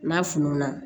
N'a fununa